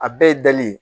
A bɛɛ ye dali ye